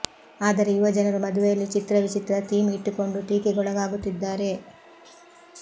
ಆದರೆ ಯುವ ಜನರು ಮದುವೆಯಲ್ಲಿ ಚಿತ್ರ ವಿಚಿತ್ರ ಥೀಮ್ ಇಟ್ಟುಕೊಂಡು ಟೀಕೆಗೊಳಗಾಗುತ್ತಿದ್ದಾರೆ